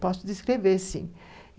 Posso descrever, sim.